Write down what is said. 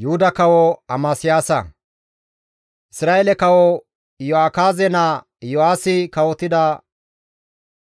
Isra7eele kawo Iyo7akaaze naa Yo7aasi kawotida